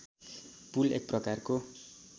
पुल एक प्रकारको